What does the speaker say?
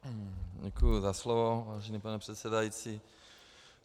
Děkuji za slovo, vážený pane předsedající.